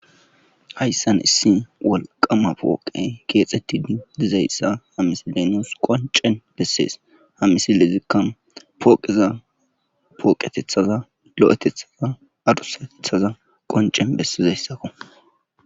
Hayssan issi walqama pooqe keexetti di dizayssa hamisi lenoos qoncen bessees hamisilezikkan pooqeza pooqetethaza lo'etethaza adhusatethaza qoncen bessizayssako